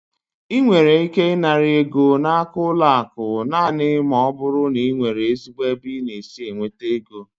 Ị nwere ike ịnara ego n'aka n'ụlọ akụ naanị ma ọ bụrụ na ị nwere ezigbo ebe i si enweta égo